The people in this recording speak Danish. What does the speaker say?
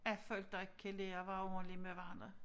At folk da ikke kan lære at være ordentlige med hverandre